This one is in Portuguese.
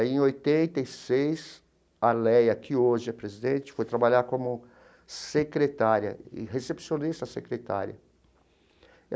Aí, em oitenta e seis, a Leia, que hoje é presidente, foi trabalhar como secretária e recepcionista secretária.